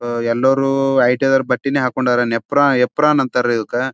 ಅಅಅ ಎಲ್ಲರೂ ಐ.ಟಿ.ಐ. ದೌರ್ ಬಟ್ಟೆನೆ ಹಾಕೊಂಡಾರೆ ನೆಪ್ರಾ ಎಪ್ರಾನ್ ಅಂತರ ಇದಕ್ಕೆ.